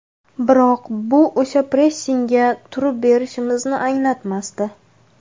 Biroq bu o‘sha pressingga turib berishimizni anglatmasdi.